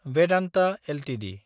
Vedanta Ltd